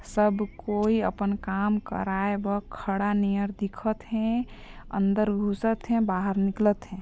सब कोई आपन काम कराय बर खड़ा नियर दिखत हे अंदर गुसत हे बाहर निकलत हे।